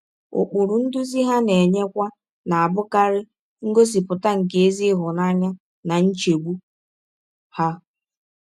Ụkpụrụ ndụzi ha na - enyekwa na - abụkarị ngọsipụta nke ezi ịhụnanya na nchegbụ ha.